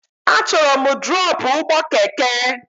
Achọrọ m drọpụ ụgbọ keke!